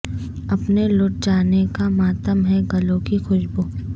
اپنے لٹ جانے کا ماتم ہے گلوں کی خوشبو